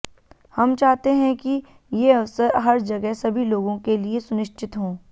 हम चाहते हैं कि ये अवसर हर जगह सभी लोगों के लिए सुनिश्चित हों